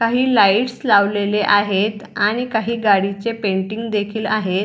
काही लाइट्स लावलेले आहेत आणि काही गाडींचे पेंटिंग देखील लावलेले आहेत.